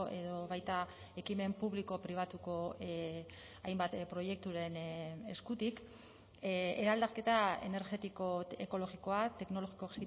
edo baita ekimen publiko pribatuko hainbat proiekturen eskutik eraldaketa energetiko ekologikoa teknologiko